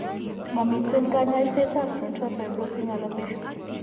Momiten kanyaiset ab frontal fibrosing alopecia